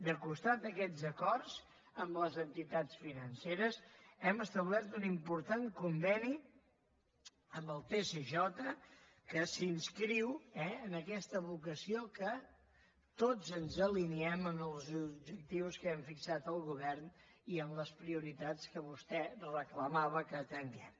al costat d’aquests acords amb les entitats financeres hem establert un important conveni amb el tcj que s’inscriu eh en aquesta vocació que tots ens alineem amb els objectius que hem fixat el govern i en les prioritats que vostè reclamava que atenguem